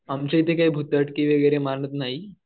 आमच्या इथे काही मानत नाही.